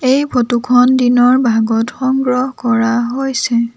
এই ফটো খন দিনৰ ভাগত সংগ্ৰহ কৰা হৈছে।